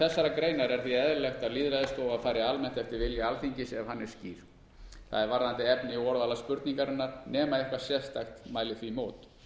þessarar greinar er því eðlilegt að lýðræðisstofa fari almennt eftir vilja alþingis ef hann er skýr það er varðandi efni og orðalag spurningarinnar nema eitthvað sérstakt mæli því í mót